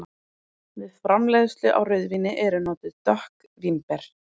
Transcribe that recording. Við framleiðslu á rauðvíni eru notuð dökk vínber.